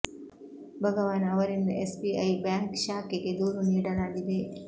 ಭಗವಾನ್ ಅವರಿಂದ S B I bank ಶಾಖೆಗೆ ದೂರು ನೀಡಲಾಗಿದೆ